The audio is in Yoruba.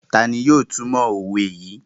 Tani yóò tumọ owe yii?